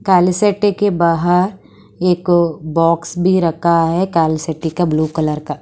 कालेसेटे के बाहर एक बॉक्स भी रखा है कालेसेटी का ब्लू कलर का।